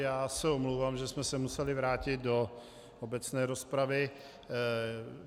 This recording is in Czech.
Já se omlouvám, že jsme se museli vrátit do obecné rozpravy.